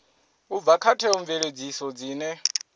u bva kha theomveledziso dzine